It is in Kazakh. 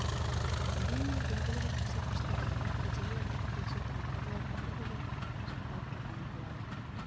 дегенмен белгілі бір көрсеткішті орындап кеудеге алтын жұлдызды тағуға болар ондай ерлер тарихта болған бола да